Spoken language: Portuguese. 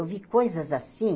Eu vi coisas assim.